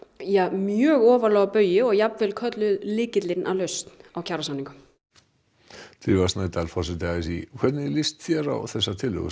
mjög ofarlega á baugi og jafnvel kölluð lykillinn að lausn að kjarasamningunum drífa Snædal forseti a s í hvernig líst þér á þessar tillögur